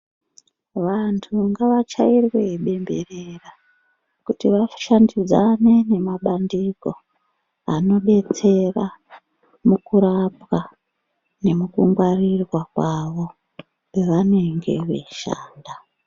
Vantu ngavachairwe bemberera kuti vashandidzane nemabandiko anodetsera mukurapwa nemukungwarirwa kwavo pavanenge veishanda.